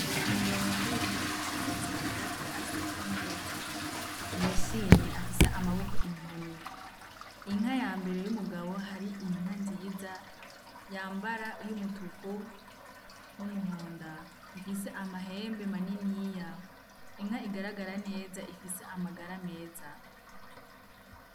Umugabo yambaye impuzu y'icatsi agaragara aseka neza yishimye afise amaboko inkoni inka ya mbere y'umugabo hari inka nziza yambara y'umutuko n'umuhonda ifise amahembe maniniya inka igaragara neza ifise amagara meza.